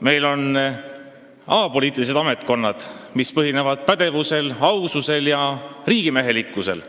meil on apoliitilised ametkonnad, mis põhinevad pädevusel, aususel ja riigimehelikkusel.